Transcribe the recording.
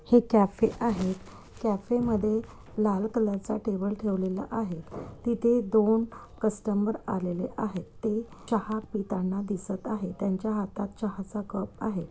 हे कॅफे आहे कॅफे मध्ये लाल कलरचा टेबल ठेवलेला आहे तिथे दोन कस्टमर आलेले आहेत ते चहा पिताना दिसत आहेत त्यांच्या हातात चहाचा कप आहे.